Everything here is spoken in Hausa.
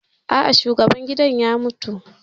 A'a, shugaban gidan ya mutu